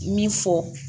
Min fɔ